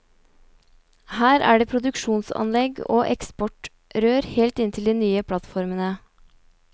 Her er det produksjonsanlegg og eksportrør helt inntil de nye plattformene.